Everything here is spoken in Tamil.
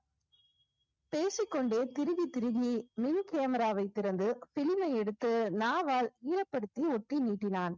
பேசிக்கொண்டே துருவித் துருவி camera வைத் திறந்து film ஐ எடுத்து நாவால் ஈரப்படுத்தி ஒட்டி நீட்டினான்.